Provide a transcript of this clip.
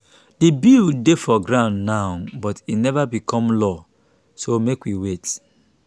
the bill dey for ground now but e never become law so make we wait